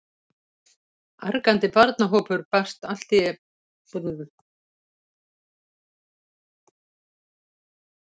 Argandi barnahópur brast allt í einu út úr bænum í eltingaleik.